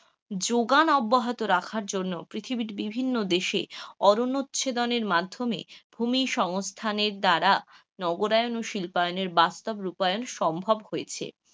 যোগান অব্যাহত রাখার জন্য পৃথিবীর বিভিন্ন দেশে অরণ্য ছেদনের মাধ্যমে ভুমি সংস্থানের দ্বারা নগরায়ন ও শিল্পায়নের বাস্তব রূপায়ন সম্ভব হয়েছে,